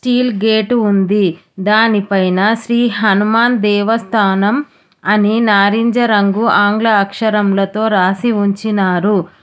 Steel gate ఉంది దానిపైన శ్రీ హనుమాన్ దేవస్థానం అని నారింజరంగు ఆంగ్ల అక్షరంలతో రాసి ఉంచినారు.